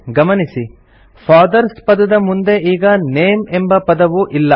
ಗಮನಿಸಿ ಫಾದರ್ಸ್ ಪದದ ಮುಂದೆ ಈಗ ನೇಮ್ ಎಂಬ ಪದವು ಇಲ್ಲ